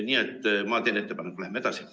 Nii et ma teen ettepaneku, et läheme edasi.